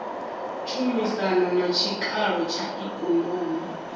tshumisano na tshikalo tsha ikonomi